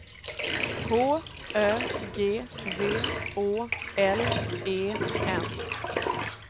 H Ö G V Å L E N